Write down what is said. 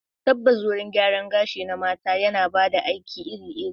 Tabbas, wurin gyaran gashi na mata yana ba da aiki iri-iri.